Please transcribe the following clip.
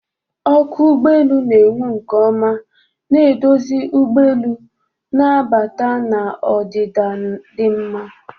Ọkụ ụgbọ elu na-enwu nke ọma, na-eduzi ụgbọ elu na-abata na ọdịda dị mma.